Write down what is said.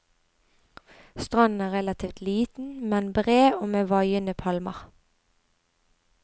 Stranden er relativt liten, men bred og med vaiende palmer.